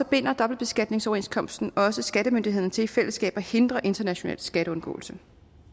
binder dobbeltbeskatningsoverenskomsten også skattemyndighederne til i fællesskab at hindre international skatteundgåelse